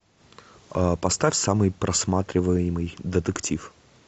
поставь самый просматриваемый детектив